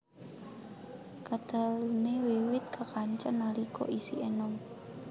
Kateluné wiwit kekancan nalika isih enom